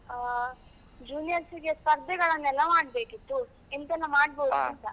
ಆ juniors ಗೆ ಸ್ಪರ್ಧೆಗಳನ್ನೆಲ್ಲ ಮಾಡಬೇಕಿತ್ತು, ಎಂತೆಲ್ಲಾ ಮಾಡಬಹುದು ?